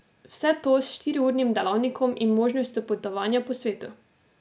Vse to s štiriurnim delavnikom in možnostjo potovanja po svetu.